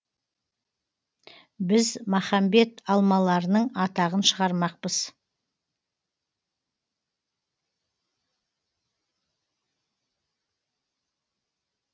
біз махамбет алмаларының атағын шығармақпыз